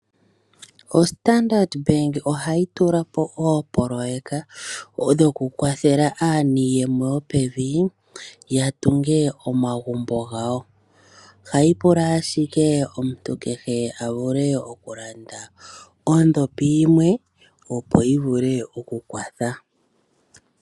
OStandard Bank ohayi tula po oopoloyeka dhoku kwathela aaniiyemo yopevi ya tunge omagumbo gawo. Ohayi pula ashike omuntu kehe a vule okulanda ondhopi yimwe opo yi vule okukwatha.